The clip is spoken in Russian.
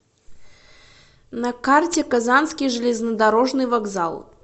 на карте казанский железнодорожный вокзал